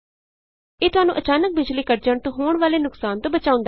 ਇਹ ਤੁਹਾਨੂੰ ਅਚਾਨਕ ਬਿਜ਼ਲੀ ਕੱਟ ਜਾਣ ਤੋਂ ਹੋਣ ਵਾਲੇ ਨੁਕਸਾਨ ਤੋਂ ਬਚਾਉਂਦਾ ਹੈ